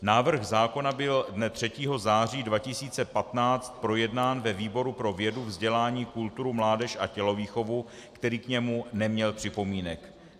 Návrh zákona byl dne 3. září 2015 projednán ve výboru pro vědu, vzdělání, kulturu, mládež a tělovýchovu, který k němu neměl připomínek.